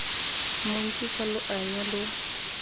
montsi fa lo anya lo